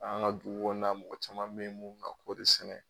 An ka dugu kɔnɔna mɔgɔ caman bɛ yen mun bɛ ka kɔɔri sɛnɛ.